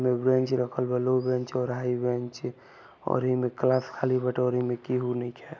उन्ने बेंच रखल बा लो और हाई बेंच और इमें में किहु नइखे |